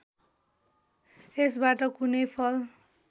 यसबाट कुनै फल